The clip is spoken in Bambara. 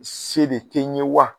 Se de tɛ ye wa?